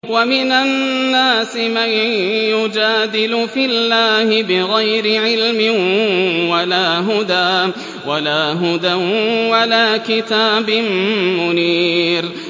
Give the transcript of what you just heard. وَمِنَ النَّاسِ مَن يُجَادِلُ فِي اللَّهِ بِغَيْرِ عِلْمٍ وَلَا هُدًى وَلَا كِتَابٍ مُّنِيرٍ